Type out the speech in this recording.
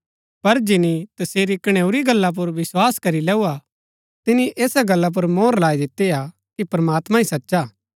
पर जिनी तसेरी कणैऊरी गल्ला पुर विस्वास करी लैऊआ तिनी ऐसा गल्ला पुर मोहर लाई दिती हा कि प्रमात्मां ही सचा हा